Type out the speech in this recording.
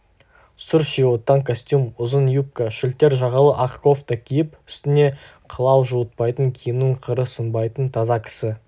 сұр шевиоттан костюм ұзын юбка шілтер жағалы ақ кофта киіп үстіне қылау жуытпайтын киімінің қыры сынбайтын таза кісі